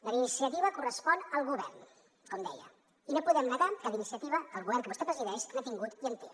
la iniciativa correspon al govern com deia i no podem negar que d’iniciativa el govern que vostè presideix n’ha tingut i en té